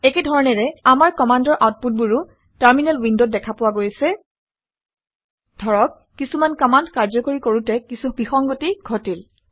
একে ধৰণেৰে আমাৰ কামাণ্ডৰ আউটপুটবোৰ আউটপুটবোৰো টাৰমিনেল উইনদতও উইণ্ডত দেখা পোৱা গৈছে। ধৰক কিছুমান কামাণ্ড কাৰ্যকৰী কৰোঁতে কিছু বিসংগতি ঘটিল